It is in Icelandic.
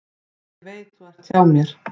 Ég veit þú ert hjá mér.